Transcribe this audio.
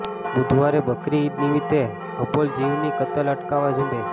બૂધવારે બકરી ઈદ નિમિતે અબોલ જીવની કતલ અટકાવા ઝુંબેશ